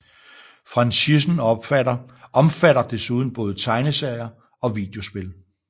Franchisen omfatter desuden både tegneserier og videospil